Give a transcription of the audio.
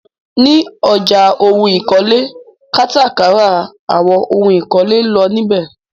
Ní ọjà ohun ìkọ́lé, kátà kárà àwọn ohún ìkọ́lé ńlọ níbẹ.